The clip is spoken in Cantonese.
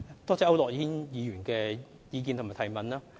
多謝區諾軒議員的意見和補充質詢。